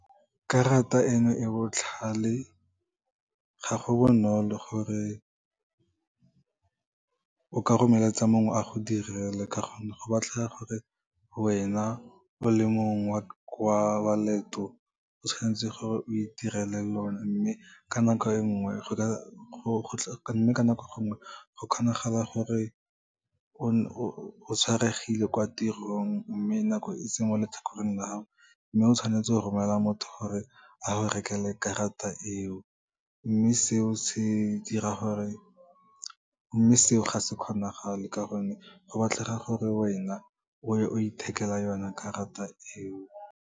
Karata eno e botlhale, ga go bonolo gore o ka romeletsa mongwe a go direle ke gonne, go batlega gore wena o le mong wa leeto, o tshwanetse gore o itirele lone mme ka nako e nngwe, go kgonagala gore o tshwaregile kwa tirong, mme nako e se mo letlhakoreng la gago. Mme o tshwanetse go romela motho gore a go rekele karata eo, mme seo ga se kgonagale ka gonne go batlega gore wena oye o ithekela yone karata eo.